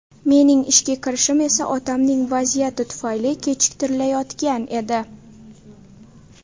Mening ishga kirishim esa otamning vaziyati tufayli kechiktirilayotgan edi.